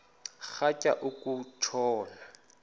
rhatya uku tshona